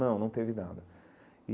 Não, não teve nada.